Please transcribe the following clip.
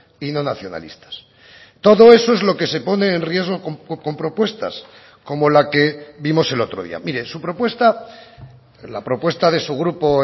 y no nacionalistas todo eso es lo que se pone en riesgo con propuestas como la que vimos el otro día mire su propuesta la propuesta de su grupo